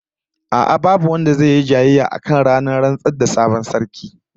A'a, babu wanda zai yi jayayya akan ranar rantsar da sabon sarki